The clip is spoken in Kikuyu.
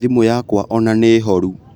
Thimu yakwa ona nĩ horu